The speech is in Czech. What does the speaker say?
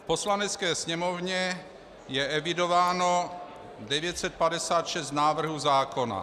V Poslanecké sněmovně je evidováno 956 návrhů zákona.